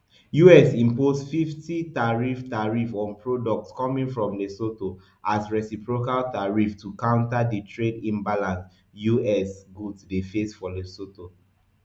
us impose fifty tariff tariff on products coming from lesotho as reciprocal tariff to counter di trade imbalance us goods dey face for lesotho